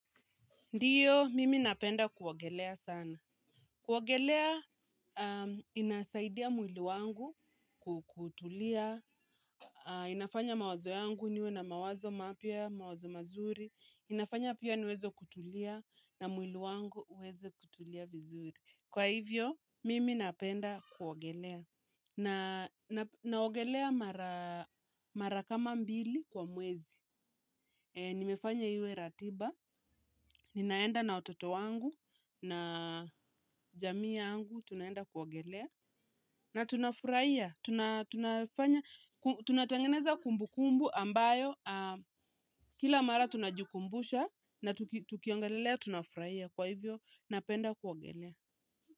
Ndiyo, mimi napenda kuogelea sana. Kuogelea, inasaidia mwili wangu kutulia. Inafanya mawazo yangu niwe na mawazo mapya, mawazo mazuri. Inafanya pia niweze kutulia na mwili wangu uweze kutulia vizuri. Kwa hivyo, mimi napenda kuwagelea. Naogelea marakama mbili kwa mwezi. Nimefanya iwe ratiba. Ninaenda na ototo wangu. Na jamii yangu, tunaenda kuogelea. Na tuna furahia, tunatangeneza kumbu kumbu ambayo, kila mara tunajikumbusha na tukiongelelea, tunafurahia kwa hivyo, napenda kuogelea.